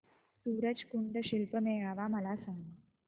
सूरज कुंड शिल्प मेळावा मला सांग